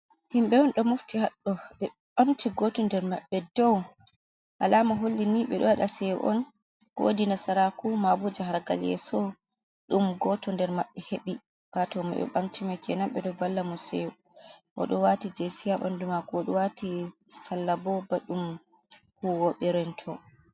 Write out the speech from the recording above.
Himbe on do mofti haddo ,ɓe bamti goto nder maɓɓe dow alama holli ni be do wada seyo on kowodi nasaraku mabuja hargal yeso dum goto der maɓɓe heɓi wato maɓe bamtima kenanbe do valla mo seyo wodi mo wati jesi ha bandu mako wodi mo wati sallabo badum huwobe rento